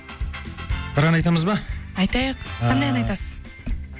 бір ән айтамыз ба айтайық ааа қандай ән айтасыз